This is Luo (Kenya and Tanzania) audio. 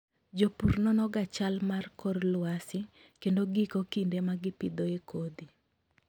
Jopur nonoga chal mar kor lwasi kendo giiko kinde ma gipidhoe kodhi.